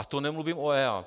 A to nemluvím o EIA.